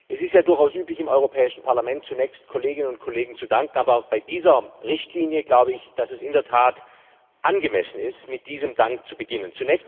Es ist ja durchaus üblich, im Europäischen Parlament zunächst Kolleginnen und Kollegen zu danken, aber bei dieser Richtlinie glaube ich, dass es in der Tat angemessen ist, mit diesem Dank zu beginnen.